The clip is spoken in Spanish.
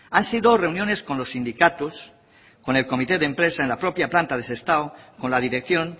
han sido reuniones con los sindicatos con el comité de empresa en la propia planta de sestao con la dirección